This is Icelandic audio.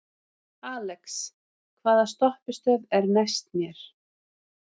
Alex, hvaða stoppistöð er næst mér?